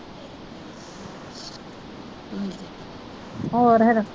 ਹੋਰ ਫਿਰ